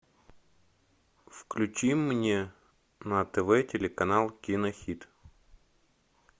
включи мне на тв телеканал кинохит